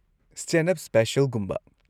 Stand-up ꯁ꯭ꯄꯦꯁꯤꯑꯦꯜꯒꯨꯝꯕ꯫